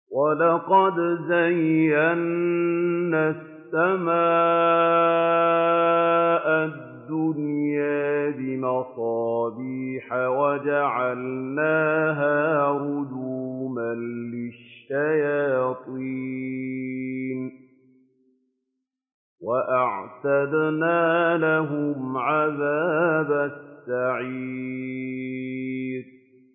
وَلَقَدْ زَيَّنَّا السَّمَاءَ الدُّنْيَا بِمَصَابِيحَ وَجَعَلْنَاهَا رُجُومًا لِّلشَّيَاطِينِ ۖ وَأَعْتَدْنَا لَهُمْ عَذَابَ السَّعِيرِ